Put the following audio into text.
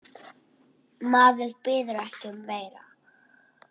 Maður biður ekki um meira.